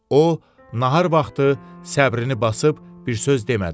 O nahar vaxtı səbrini basıb bir söz demədi.